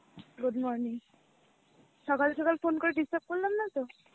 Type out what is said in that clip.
good morning, সকাল সকাল phone করে disturb করলাম না তো?